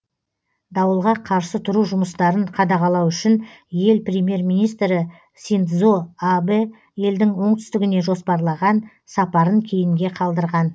дауылға қарсы тұру жұмыстарын қадағалау үшін ел премьер министрі синдзо абэ елдің оңтүстігіне жоспарлаған сапарын кейінге қалдырған